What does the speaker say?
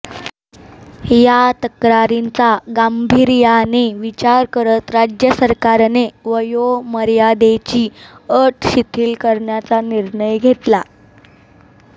या तक्रारींचा गांभीर्याने विचार करत राज्य सरकारने वयोमर्यादेची अट शिथील करण्याचा निर्णय घेतला